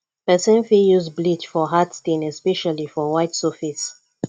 person fit use bleach for hard stain especially for white surface